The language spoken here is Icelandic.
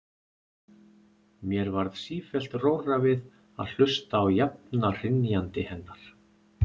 Mér varð sífellt rórra við að hlusta á jafna hrynjandi hennar.